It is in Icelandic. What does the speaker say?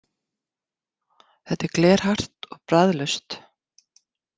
Þetta er glerhart og bragðlaust.